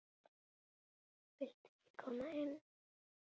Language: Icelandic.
Viltu ekki koma inn?